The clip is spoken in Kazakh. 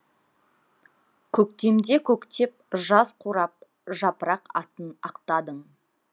көктемде көктеп жаз қурап жапырақ атын ақтадың